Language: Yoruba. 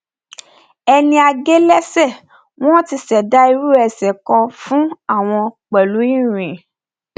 ẹni a gé lẹsẹ wọn ti ṣẹdá irú ẹsẹ kan fún wọn pẹlú irin